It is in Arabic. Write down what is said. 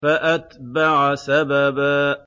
فَأَتْبَعَ سَبَبًا